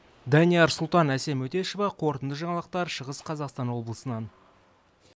данияр сұлтан әсем өтешова қорытынды жаңалықтар шығыс қазақстан облысынан